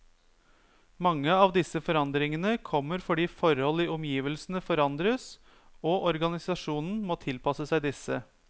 Mange av disse forandringene kommer fordi forhold i omgivelsene forandres, og organisasjonen må tilpasse seg disse.